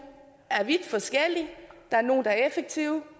er vidt forskellige der er nogle der er effektive